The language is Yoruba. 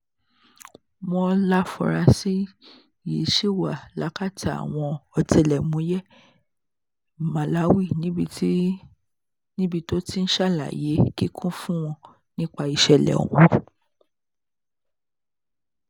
wọ́n láforasí yìí ṣì wà lákàtà àwọn ọ̀tẹlẹ̀múyẹ́ màláwì níbi tó ti ń ṣàlàyé kíkún fún wọn nípa ìṣẹ̀lẹ̀ ọ̀hún